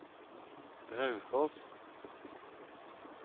Raufoss